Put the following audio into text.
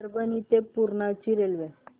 परभणी ते पूर्णा ची रेल्वे